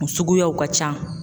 O suguyaw ka ca.